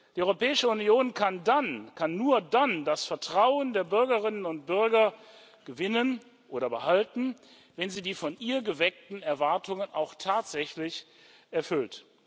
Die Europäische Union kann nur dann das Vertrauen der Bürgerinnen und Bürger gewinnen oder behalten, wenn sie die von ihr geweckten Erwartungen auch tatsächlich erfüllt.